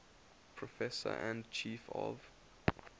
professor and chief of